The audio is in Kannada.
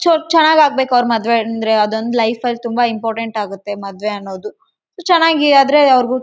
ಸಾಲ ಮಾಡಿ ತಮ್ಮ ಮದುವೆ ಮಾಡಿದೆ.